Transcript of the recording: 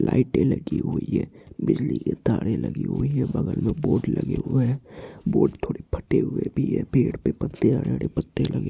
लाईटे लगे हुए हैं बिजली के तारे लगे हुए हैं बगल में बोर्ड लगे हुए हैं बोर्ड थोड़े फटे हुए भी हैं पेड़ पे पत्ते हरे हरे पत्ते--